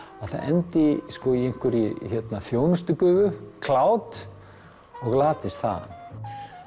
að það endi í einhverri þjónustugufu cloud og glatist þar